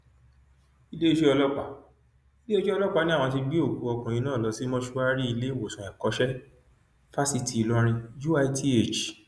iléeṣẹ ọlọpàá iléeṣẹ ọlọpàá ni àwọn ti gbé òkú ọkùnrin náà lọ sí mọṣúárì ìléwọsán ẹkọṣẹ fásitì ìlọrin uith